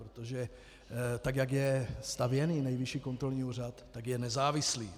Protože tak jak je stavěn Nejvyšší kontrolní úřad, tak je nezávislý.